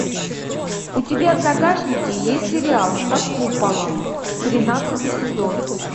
у тебя в загашнике есть сериал под куполом тринадцатый сезон